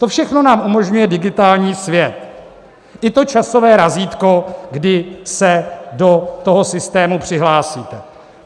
To všechno nám umožňuje digitální svět, i to časové razítko, kdy se do toho systému přihlásíte.